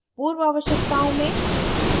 पूर्व आवश्यकताओं में